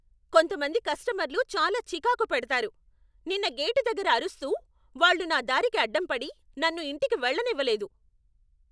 కొంతమంది కస్టమర్లు చాలా చికాకు పెడతారు. నిన్న గేటు దగ్గర అరుస్తూ, వాళ్ళు నా దారికి అడ్డంపడి, నన్ను ఇంటికి వెళ్ళనివ్వలేదు!